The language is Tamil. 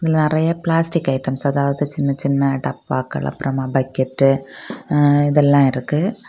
நெறைய பிளாஸ்டிக் ஐட்டம்ஸ் அதாவது சின்ன சின்ன டப்பாக்கள் அப்புறமா பக்கெட்டு ம் இதெல்லாம் இருக்கு.